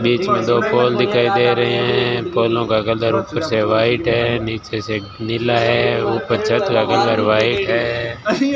बीच मे दो पोल दिखाई दे रहे हैं पोलो का कलर ऊपर से व्हाइट है नीचे से नीला है ऊपर छत का कलर व्हाइट है।